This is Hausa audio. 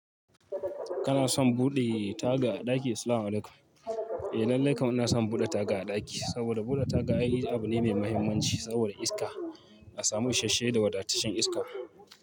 Kana son buɗe taga a ɗaki? Assalamualaikum. Eh lallai kam ina son buɗe taga a ɗaki saboda buɗe taga ai abu ne mai muhimmanci saboda iska. A samu isheshe da wadataccen iska.